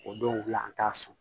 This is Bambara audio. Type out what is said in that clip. O dɔw la an t'a sɔn